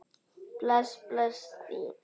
Bless bless, þín